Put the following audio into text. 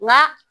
Nka